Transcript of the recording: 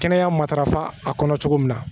Kɛnɛya matarafa a kɔnɔ cogo min na